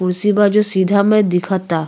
कुर्सी बा जो सीधा में दिखता।